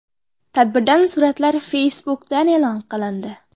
Tadbirdan suratlar Facebook’da e’lon qilindi .